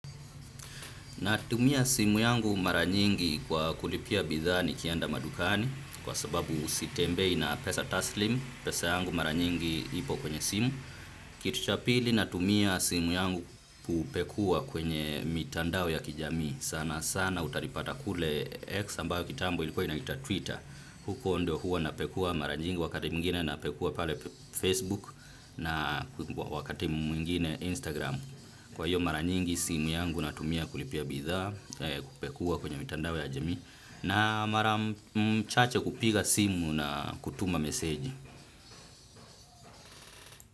Natumia simu yangu mara nyingi kwa kulipia bidhaa nikienda madukani kwa sababu sitembei na pesa taslimu. Pesa yangu mara nyingi ipo kwenye simu. Kitu cha pili, natumia simu yangu kupekuwa kwenye mitandao ya kijamii. Sana sana utanipata kule X ambayo kitambo ilikuwa inatwa Twitter. Huko ndio huwa napekua mara nyingi wakati mwingine napekua pale Facebook na wakati mwingine Instagram. Kwa hiyo mara nyingi simu yangu natumia kulipia bidhaa, kupekua kwenye mitandao ya jamia na mara chache kupiga simu na kutuma meseji.